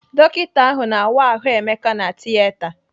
Dọkita ahụ na-awa ahụ Emeka na Tieta.